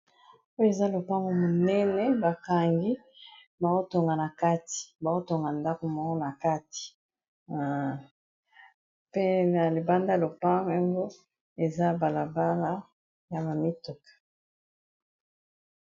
Oyo eza lopango monene bakangi baotonga na kati baotonga ndako moko na kati pe na libanda lopango yango eza balabala ya ba mituka.